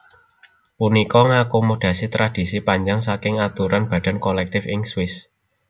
Punika ngakomodasi tradisi panjang saking aturan badan kolektif ing Swiss